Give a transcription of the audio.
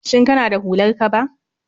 Shin kana da hular kaba?